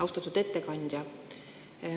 Austatud ettekandja!